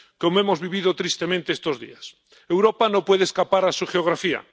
Como hemos vivido tristemente estos días, Europa no puede escapar a su geografía.